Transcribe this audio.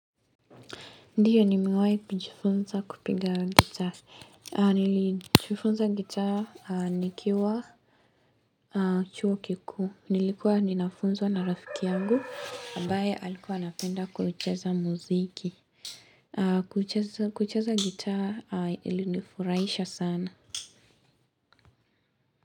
Ndiyo nime wahi kujifunza kupiga wa gitaa. Nilijifunza gitaa nikiwa. Chuo kikuu. Nilikuwa ninafunzwa na rafiki yangu. Ambaye alikuwa anapenda kucheza muziki. Kucheza gitaa ili nifurahisha sana.